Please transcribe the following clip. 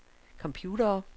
computere